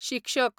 शिक्षक